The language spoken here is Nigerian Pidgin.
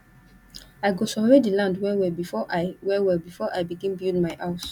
i go survey di land wellwell before i wellwell before i begin build my house